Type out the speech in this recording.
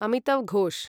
Amitav Ghosh